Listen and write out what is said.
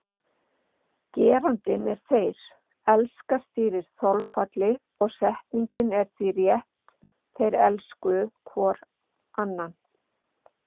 Gerandinn er þeir, elska stýrir þolfalli og setningin er því rétt þeir elskuðu hvor annan.